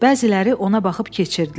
Bəziləri ona baxıb keçirdilər.